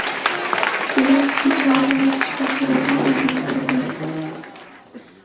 Zelenskiy shaurma yeb tushgan suratini internetga qo‘ydi.